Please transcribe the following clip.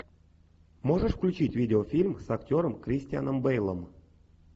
можешь включить видеофильм с актером кристианом бейлом